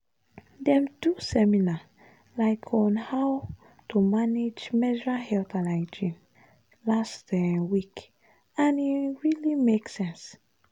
dem do seminar um on how to manage menstrual health and hygiene last um week and e um really make sense.